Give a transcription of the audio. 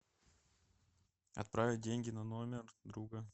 отправить деньги на номер друга